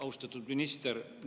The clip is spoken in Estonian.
Austatud minister!